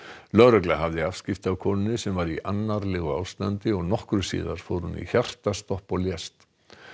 lögregla hafði afskipti af konunni sem var í annarlegu ástandi og nokkru síðar fór hún í hjartastopp og lést